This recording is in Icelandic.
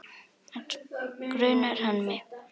Grunar hann mig?